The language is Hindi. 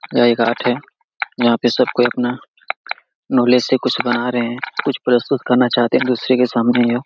यह एक आर्ट है यहां पे सबकोई अपना नॉलेज से कुछ बना रहे हैं कुछ प्रस्तुत करना चाहते हैं दूसरे के सामने यह।